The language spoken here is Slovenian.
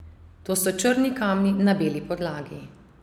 To so črni kamni na beli podlagi.